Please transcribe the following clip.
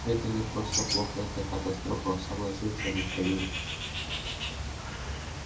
это не просто плохо это катастрофа согласился михаил